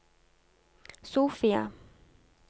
Sofia